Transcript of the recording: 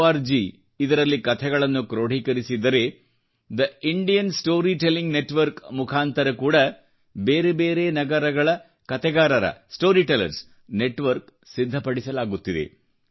org ನಲ್ಲಿ ಕತೆಗಳನ್ನು ಕ್ರೋಢೀಕರಿಸಿದ್ದರೆ the Indian story telling network ಮುಖಾಂತರ ಕೂಡಾ ಬೇರೆ ಬೇರೆ ನಗರಗಳ ಕತೆಗಾರರ ಸ್ಟೋರಿ ಟೆಲ್ಲರ್ಸ್ ನೆಟ್ವರ್ಕ್ ಸಿದ್ಧಪಡಿಸಲಾಗುತ್ತಿದೆ